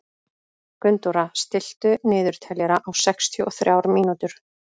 Gunndóra, stilltu niðurteljara á sextíu og þrjár mínútur.